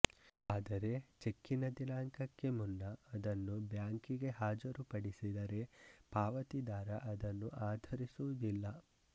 ಆದರೆ ಚೆಕ್ಕಿನ ದಿನಾಂಕಕ್ಕೆ ಮುನ್ನ ಅದನ್ನು ಬ್ಯಾಂಕಿಗೆ ಹಾಜರು ಪಡಿಸಿದರೆ ಪಾವತಿದಾರ ಅದನ್ನು ಆಧರಿಸುವುದಿಲ್ಲ